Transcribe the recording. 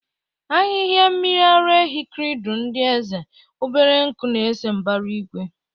Ahihia mmiri ara ehi kridul ndị eze, obere nku na-ese mbara igwe.